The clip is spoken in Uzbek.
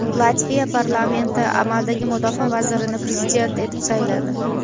Latviya parlamenti amaldagi mudofaa vazirini prezident etib sayladi.